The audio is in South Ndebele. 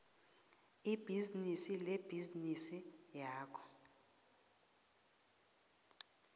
ibhizinisi lebhizinisi yakho